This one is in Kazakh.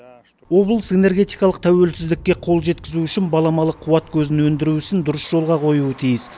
облыс энергетикалық тәуелсіздікке қол жеткізу үшін баламалы қуат көзін өндіру ісін дұрыс жолға қоюы тиіс